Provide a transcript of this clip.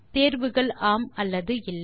தேர்வுகள் ஆம் அல்லது இல்லை